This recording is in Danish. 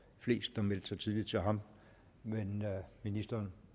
flest der meldte sig tidligt til ham men ministeren